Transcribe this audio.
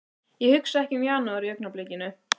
Ég hugsa ekki um janúar í augnablikinu.